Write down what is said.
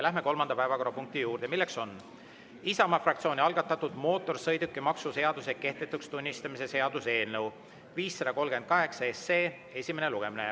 Läheme kolmanda päevakorrapunkti juurde: Isamaa fraktsiooni algatatud mootorsõidukimaksu seaduse kehtetuks tunnistamise seaduse eelnõu 538 esimene lugemine.